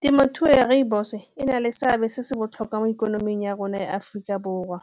Temothuo ya rooibos-o e na le seabe se se botlhokwa mo ikonoming ya rona ya Aforika Borwa